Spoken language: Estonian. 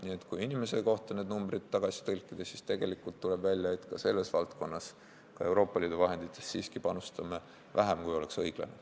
Nii et kui need numbrid n-ö tagasi tõlkida, kui palju tuleb inimese kohta, siis tegelikult tuleb välja, et ka Euroopa Liidu vahenditest siiski panustame vähem, kui oleks õiglane.